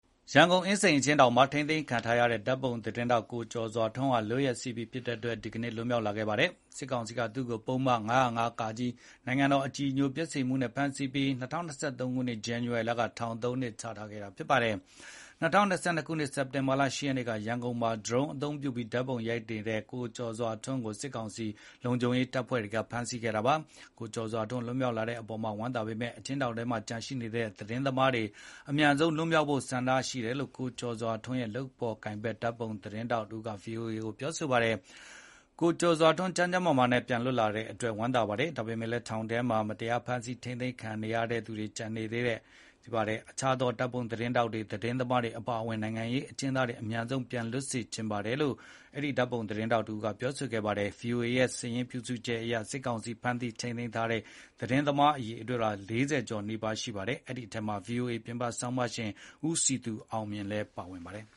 ရန်ကုန်အင်းစိန် အကျဥ်းထောင်မှာ ထိန်းသိမ်းခံထားရတဲ့ ဓာတ်ပုံသတင်းထောက် ကျော်စွာထွန်းဟာ လွတ်ရက်စေ့ပြီဖြစ်တဲ့အတွက် ဒီကနေ့ လွတ်မြောက်လာခဲ့ပါတယ်။ စစ်ကောင်စီက သူ့ကို ပုဒ်မ ၅၀၅ (က) နိုင်ငံတော်အကြည်ညိုပျက်စေမှုနဲ့ ဖမ်းဆီးပြီး ၂၀၂၃ ခုနှစ် ဇန်နဝါရီလက ထောင်ဒဏ်သုံးနှစ် ချမှတ်ခဲ့ပါတယ်။ ၂၀၂၂ ခုနှစ် စက်တင်ဘာလ ၈ ရက်နေ့က ရန်ကုန်မှာဒရုန်းသုံးပြီး ဓါတ်ပုံရိုက်နေတဲ့ ကိုကျော်စွာထွန်းကို စစ်ကောင်စီ လုံခြုံရေးတပ်တွေက ဖမ်းဆီးခဲ့တာဖြစ်ပါတယ်။ အခုလို ကိုကျော်စွာထွန်း လွတ်မြောက် လာတာ၀မ်းသာပေမယ့် အကျဥ်းထောင်တွေထဲမှာ ကျန်နေသေးတဲ့ သတင်းသမားတွေ အမြန်ဆုံး လွှတ်ပေးဖို့ဆန္ဒရှိနေကြတယ်လို့ ကိုကျော်စွာထွန်းနဲ့ လုပ်ဖေါ်ကိုင်ဘက် ဓါတ်ပုံသတင်းထောက်တဦးက ဗွီအိုအေကိုပြောပါတယ်။ "ကိုကျော်စွာထွန်း ကျန်းကျန်းမာမာနဲ့ ပြန်လွတ်လာတဲ့အတွက် ကျနော်တို့ ဝမ်းသာတယ်။ ဒါပေမဲ့လည်း ထောင်တွေထဲမှာ မတရားဖမ်းဆီးထိမ်းသိမ်းခံနေရတဲ့ သူတွေ ကျန်နေပါသေးတယ်။ အခြားသော ဓါတ်ပုံသတင်းထောက်တွေ၊ သတင်းသမားတွေအပါအ၀င် နိုင်ငံရေးအကျဥ်းသမားတွေ အမြန်ဆုံး ပြန်လွတ်စေချင်ပါတယ်။ ထောင်ထဲမှာရှိနေသူတွေရဲ့ ကျန်းမာရေးကို ကျနော်တို့ အလွန် စိုးရိမ်နေကြပါတယ်။ သူတို့အားလုံးကို အမြန်ဆုံး ပြန်လွှတ်ပေးစေချင်ပါတယ်။" ဗွီအိုအေရဲ့ စာရင်းပြုစုချက်အရ စစ်ကောင်စီဖမ်းဆီးထိန်းသိမ်းထားတဲ့ သတင်းသမားအရေအတွက် ၄၀ ကျော်နီးပါးရှိနေပါတယ်။ အဲဒီထဲမှာ ဗွီအိုအေ ပြင်ပဆောင်းပါးရှင် ဦးစည်သူအောင်မြင့်လည်း ပါ၀င်ပါတယ်။